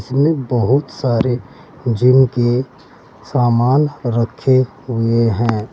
इसमें बहोत सारे जिम की सामान रखे हुए हैं।